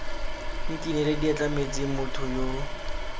nkinele diatla metsing motho yo